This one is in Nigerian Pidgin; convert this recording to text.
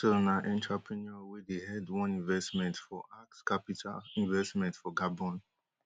axel na entrepreneur wey dey head one investment for ax capital investment for gabon